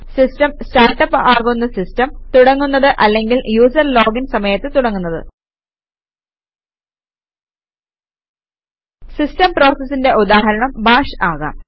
system start up ആകുന്ന system തുടങ്ങുന്നത് അല്ലെങ്കിൽ യൂസര് ലോഗിൻ സമയത്ത് തുടങ്ങുന്നത് സിസ്റ്റം പ്രോസസിന്റെ ഉദാഹരണം ബാഷ് ആകാം